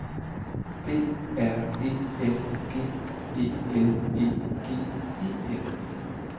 D R E N G E L E G E N